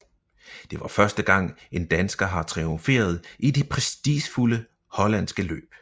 Det var første gang en dansker har triumferet i det prestigefulde hollandske løb